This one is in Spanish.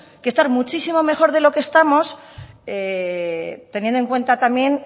que estar muchísimo mejor de lo que estamos teniendo en cuenta también